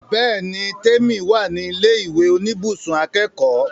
Bẹ́ẹ̀ni l, Tèmi wà ní ilé ìwé oníbùsùn akẹ́kọ̀ọ́